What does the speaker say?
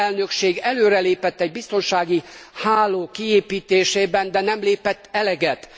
A dán elnökség előrelépett egy biztonsági háló kiépítésében, de nem lépett eleget.